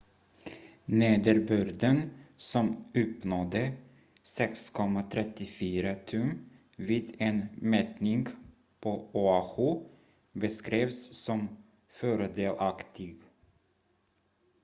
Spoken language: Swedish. "nederbörden som uppnådde 6,34 tum vid en mätning på oahu beskrevs som "fördelaktig"".